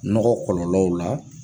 Nɔgɔ kɔlɔlɔw la.